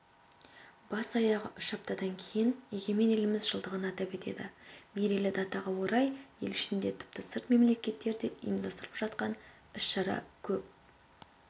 бас-аяғы үш аптадан кейін егемен еліміз жылдығын атап өтеді мерейлі датаға орай ел ішінде тіпті сырт мемлекеттерде ұйымдастырылып жатқан іс-шара көп